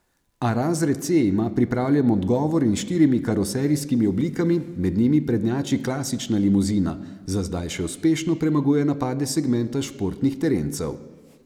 A razred C ima pripravljen odgovor in s štirimi karoserijskimi oblikami, med njimi prednjači klasična limuzina, za zdaj še uspešno premaguje napade segmenta športnih terencev.